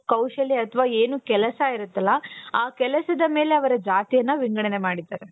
ಕೌಶಲ್ಯ ಅಥವಾ ಏನು ಕೆಲಸ ಇರುತ್ತಲ್ಲ ಆ ಕೆಲಸದ ಮೇಲೆ ಅವರ ಜಾತಿಯನ್ನ ವಿಂಗಡನೆ ಮಾಡಿದ್ದರು.